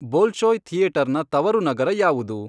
Bolshoi ಥಿಯೇಟರ್ನ ತವರು ನಗರ ಯಾವುದು?